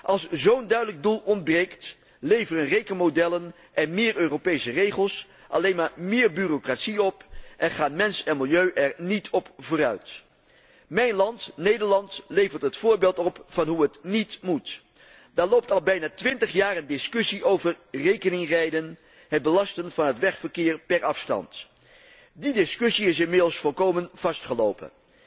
Als zo'n duidelijk doel ontbreekt, leveren rekenmodellen en meer Europese regels alleen maar bureaucratie op en gaan mens en milieu er niet op vooruit. Mijn land, Nederland, levert het voorbeeld van hoe het níet moet. Daar loopt al bijna twintig jaar een discussie over rekeningrijden, het belasten van het wegverkeer per afstand. De discussie is inmiddels volkomen vastgelopen.